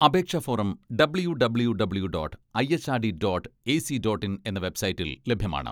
അപേക്ഷാ form W W W dot IHRD dot AC dot in എന്ന വെബ്സൈറ്റിൽ ലഭ്യമാണ്.